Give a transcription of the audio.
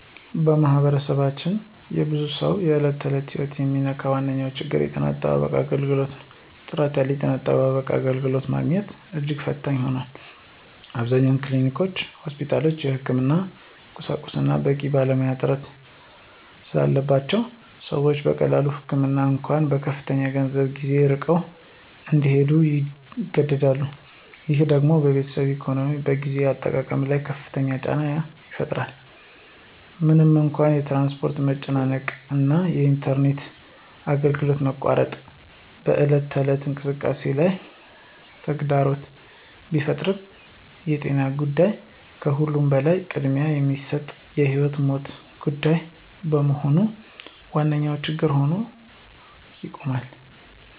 በማኅበረሰባችን የብዙ ሰዎችን የዕለት ተዕለት ሕይወት የሚነካው ዋነኛው ችግር የጤና አጠባበቅ አገልግሎት ነው። ጥራት ያለው የጤና አገልግሎት ማግኘት እጅግ ፈታኝ ሆኗል። አብዛኞቹ ክሊኒኮችና ሆስፒታሎች የሕክምና ቁሳቁስና በቂ ባለሙያ እጥረት ስላለባቸው ሰዎች ለቀላል ህመም እንኳ በከፍተኛ ገንዘብና ጊዜ ርቀው እንዲሄዱ ይገደዳሉ። ይህ ደግሞ በቤተሰብ ኢኮኖሚና በጊዜ አጠቃቀም ላይ ከፍተኛ ጫና ይፈጥራል። ምንም እንኳ የትራንስፖርት መጨናነቅ እና የኢንተርኔት አገልግሎት መቆራረጥ በዕለት ተዕለት እንቅስቃሴ ላይ ተግዳሮት ቢፈጥሩም የጤና ጉዳይ ከሁሉም በላይ ቅድሚያ የሚሰጠውና የሕይወትና ሞት ጉዳይ በመሆኑ ዋነኛ ችግር ሆኖ ይቆማል።